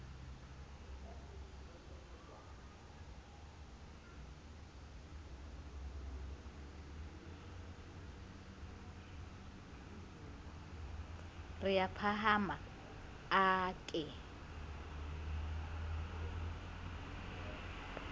re a phahame a ke